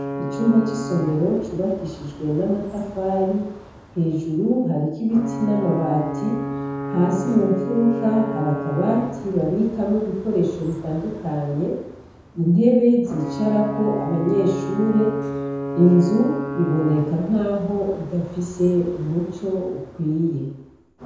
Icumba cisomero cubakishijwe namatafari hejuru harikibiti n'amabati hasi mumfuruka hari akabati babikamwo ibikoresho bitandukanye, intebe zicarako abanyeshure inzu iboneka nkaho idafise umuco ukwiye.